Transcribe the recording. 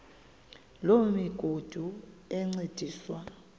loo migudu encediswa